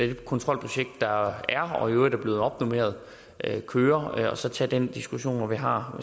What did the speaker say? det kontrolprojekt der er og i øvrigt er blevet opnormeret køre og så tage den diskussion når vi har